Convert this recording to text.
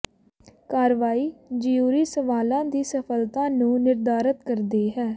ਕਾਰਵਾਈ ਜਿਊਰੀ ਸਵਾਲਾਂ ਦੀ ਸਫ਼ਲਤਾ ਨੂੰ ਨਿਰਧਾਰਤ ਕਰਦੀ ਹੈ